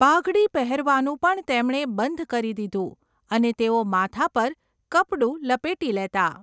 પાઘડી પહેરવાનું પણ તેમણે બંધ કરી દીધું અને તેઓ માથા પર કપડું લપેટી લેતા.